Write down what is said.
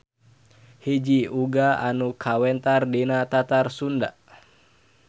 Hiji uga anu kawentar di Tatar Sunda.